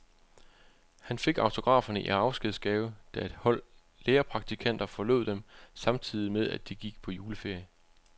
Han fik autograferne i afskedsgave, da et hold lærerpraktikanter forlod dem, samtidig med at de gik på juleferie.